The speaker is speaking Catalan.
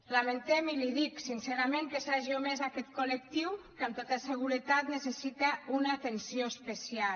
lamentem i li ho dic sincerament que s’hagi omès aquest col·lectiu que amb tota seguretat necessita una atenció especial